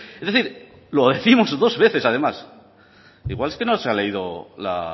es decir lo décimos dos veces además igual es que no se ha leído la